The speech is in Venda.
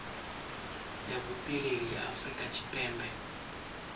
ya vhupileli ya afurika tshipembe